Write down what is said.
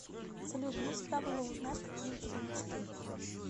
салют мне всегда было узнать какие у тебя мечты